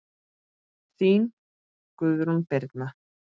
Þín, Guðrún Birna.